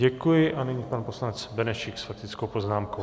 Děkuji a nyní pan poslanec Benešík s faktickou poznámkou.